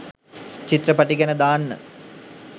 චිත්‍රපටි ගැන දාන්න.